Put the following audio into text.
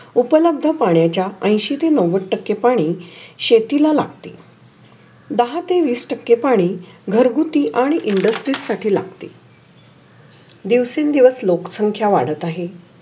उपलब्ध पाण्याच्या अंशी ते नव्वद टक्के पाणी शेतीला लागते. दाह ते विस टक्के पाणी घर घुटी आणि इंडस्ट्री लागतील. दिवासनी दिवस लोक संख्या वाढत आहेत.